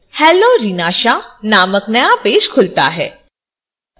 hello reena shah नामक नया page खुलता है